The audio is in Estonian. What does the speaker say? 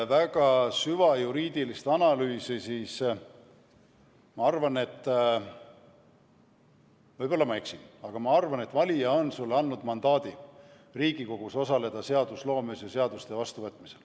Tegemata siin nüüd süvajuriidilist analüüsi, ma arvan – võib-olla ma eksin –, et valija on sulle andnud mandaadi Riigikogus osaleda seadusloomes ja seaduste vastuvõtmisel.